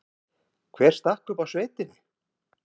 Hver stakk upp á sveitinni?